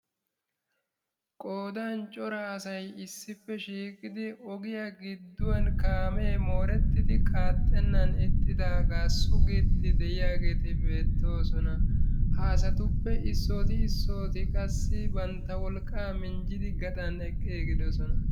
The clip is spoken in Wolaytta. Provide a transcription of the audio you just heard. Qoodan cora asay issippe shiiqidi ogiya gidduwan kaame moorettidi qaaxxenan ixxidaaga sugiiddi de'iyaageeti beettoosona. Ha asatuppe issooti issooti qassi bantta wolqqaa minjjidi gaxan eqqiigidoosona.